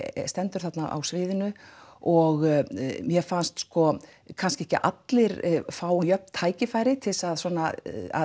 stendur þarna á sviðinu og mér fannst sko kannski ekki allir fá jöfn tækifæri til þess að svona